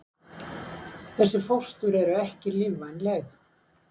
Þessi fóstur eru ekki lífvænleg.